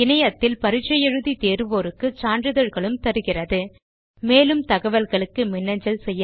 இணையத்தில் பரிட்சை எழுதி தேர்வோருக்கு சான்றிதழ்களும் தருகிறது மேலும் தகவல்களுக்கு மின்னஞ்சல் செய்யவும்